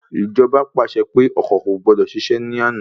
Ìjọba pàṣẹ pé ọkọ̀ kò gbọdọ̀ ṣiṣẹ̀ ní àná